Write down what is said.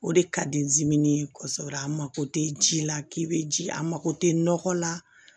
O de ka di n zini kɔso a mako tɛ ji la k'i bɛ ji a mako tɛ nɔgɔ la